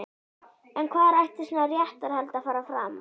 En hvar ætti svona réttarhald að fara fram?